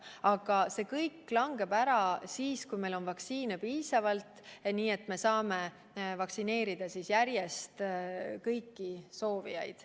Aga see kõik langeb ära siis, kui meil on vaktsiine piisavalt, nii et me saame vaktsineerida järjest kõiki soovijaid.